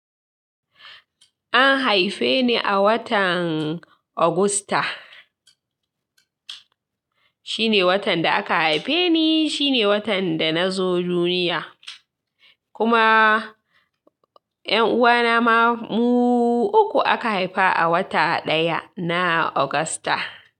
An haife ni a watan Augusta. Shine watan da aka haife ni, shine watan da na zo duniya. Kuma yan uwana ma mu uku aka haifa a wata ɗaya, na Augusta.